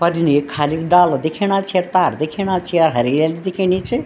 पर इने यख खालिक डाला दिख्येणा छै तार दिख्याणा छै हरियली दिख्येणी च।